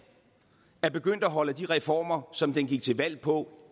er begyndt at holde af de reformer som den gik til valg på